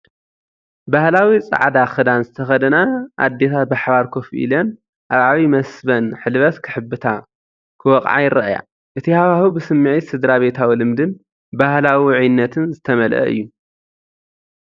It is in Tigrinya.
ባህላዊ ጻዕዳ ክዳን ዝተኸድነን ኣዴታት ብሓባር ኮፍ ኢለን ኣብ ዓቢይ መሰበን ሕልበት ክሕብታ/ክወቕዓ ይረኣያ። እቲ ሃዋህው ብስምዒት ስድራቤታዊ ልምድን ባህላዊ ውዑይነትን ዝተመልአ እዩ።